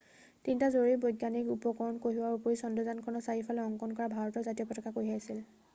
তিনিটা জৰুৰী বৈজ্ঞানিক উপকৰণ কঢ়িওৱাৰ উপৰিও চন্দ্ৰযানখনৰ চাৰিওফালে অংকন কৰা ভাৰতৰ জাতীয় পতাকা কঢ়িয়াইছিল